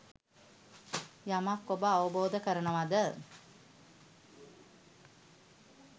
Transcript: යමක් ඔබ අවබෝධ කරනවද